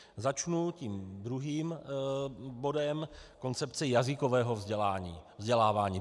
Začnu tím druhým bodem, koncepce jazykového vzdělávání.